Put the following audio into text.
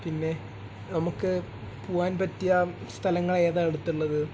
പിന്നെ നമുക്ക് പോവാൻ പറ്റിയ സ്ഥലങ്ങൾ ഏതാണ് അടുത്തുള്ളത്?